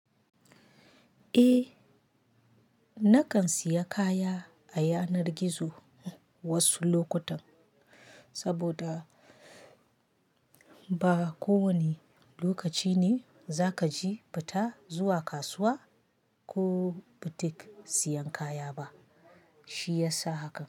Eh, nakan siya kaya a yanar gizo wasu lokutan, saboda ba ko wane lokaci ne za kaji fita zuwa kasuwa ko butik siyan kaya ba, shi yasa haka.